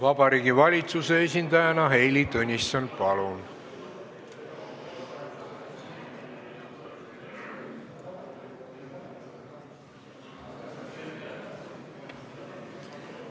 Vabariigi Valitsuse esindajana Heili Tõnisson, palun!